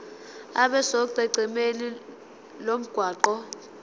abe sonqenqemeni lomgwaqo